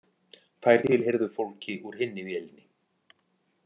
Þær tilheyrðu fólki úr hinni vélinni